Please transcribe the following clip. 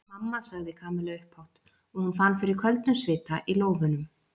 Mamma sagði Kamilla upphátt og hún fann fyrir köldum svita í lófunum.